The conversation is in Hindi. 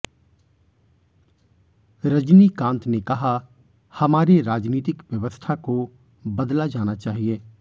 रजनीकांत ने कहा हमारे राजनीतिक व्यवस्था को बदला जाना चाहिए